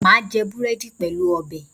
Mà á jẹ búrẹ́dì pẹ̀lú ọbẹ̀